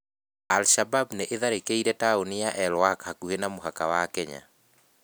Al-Shabab nĩ ĩtharĩkĩire taũni ya El Wak hakuhĩ na mũhaka wa Kenya.